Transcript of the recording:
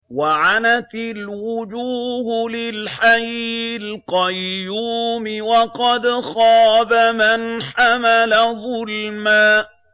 ۞ وَعَنَتِ الْوُجُوهُ لِلْحَيِّ الْقَيُّومِ ۖ وَقَدْ خَابَ مَنْ حَمَلَ ظُلْمًا